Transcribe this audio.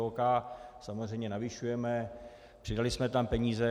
OK, samozřejmě navyšujeme, přidali jsme tam peníze.